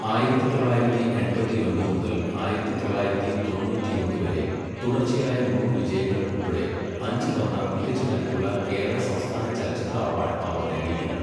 ആയിരത്തി തൊള്ളായിരത്തി എൺപത്തിഒൻപത് മുതൽ ആയിരത്തി തൊള്ളായിരത്തി തൊണ്ണൂറ്റിയൊന്ന് വരെ തുടർച്ചയായ മൂന്ന് വിജയങ്ങൾ ഉൾപ്പെടെ അഞ്ച് തവണ മികച്ച നടിക്കുള്ള കേരള സംസ്ഥാന ചലച്ചിത്ര അവാഡ് അവർ നേടിയിട്ടുണ്ട്.